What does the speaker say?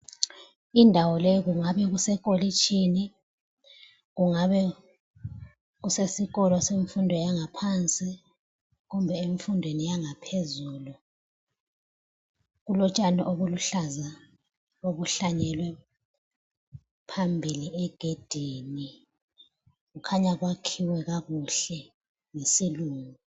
Indawo le kungabe kusekolitshini kungabe kusesikolo semfundo yangaphansi kumbe emfundweni yangaphezulu. Kulotshani obuluhlaza obuhlanyelwe phambili egedini. Khanya kwakhiwe kakuhle, yisilungu.